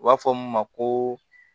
U b'a fɔ min ma ko